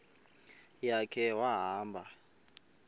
ya khe wahamba